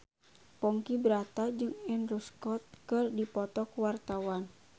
Ponky Brata jeung Andrew Scott keur dipoto ku wartawan